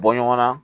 Bɔ ɲɔgɔn na